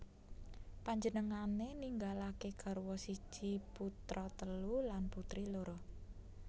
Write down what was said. Panjenengané ninggalaké garwa siji putra telu lan putri loro